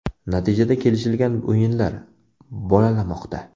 Natijada kelishilgan o‘yinlar ‘bolalamoqda’.